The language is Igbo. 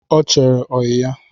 Ọ chere oyi ya